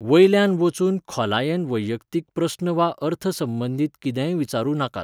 वयल्यान वचून खोलायेन वैयक्तीक प्रस्न वा अर्थसंबंदीत कितेंय विचारूं नाकात.